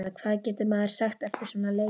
Hvað getur maður sagt eftir svona leik?